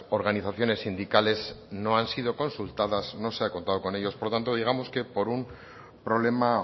organizaciones sindicales no han sido consultadas no se han contado con ellos por lo tanto digamos que por un problema